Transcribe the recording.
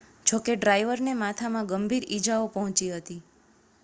જો કે ડ્રાઇવરને માથામાં ગંભીર ઈજાઓ પહોંચી હતી